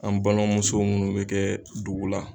An balimamuso minnu bɛ kɛ dugu la.